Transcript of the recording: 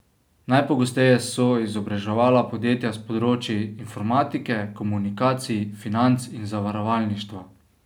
Najpogosteje so izobraževala podjetja s področij informatike, komunikacij, financ in zavarovalništva.